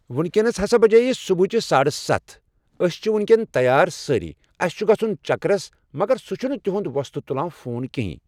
وُنکٮ۪س ہسا بجے صبحٕچ ساڑٕ ستھ أسۍ چھ وُنۍکٮ۪ن تیار سأری ،اَسہِ چھُ گژھُن چکرس مگر سُہ چھُ نہٕ تُہنٛد وۄستہٕ تُلان فون کِہِنۍ۔